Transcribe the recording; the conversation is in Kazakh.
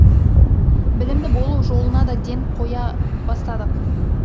білімді болу жолына да ден қоя бастадық